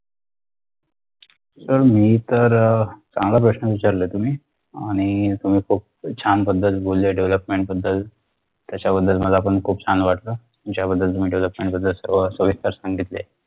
अह मी तर अह चांगला प्रश्न विचारला ए तुम्ही आणि तुम्ही खूप छान पद्धतीने बोलले development बद्दल त्याच्याबद्दल मलापण खूप छान वाटलं ज्याबद्दल तुम्ही development बद्दल सर्व सविस्तर सांगितले